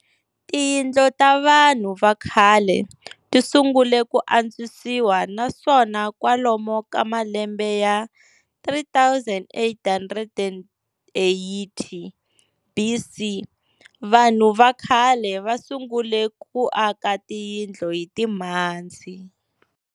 Tiyindlu tavanhu vakhale tisungule kuantswisiwa naswona kwalomu ka malembe ya 3 880 BC, vanhu vakhale vasungule ku aka tiyindlu hitimhadzi.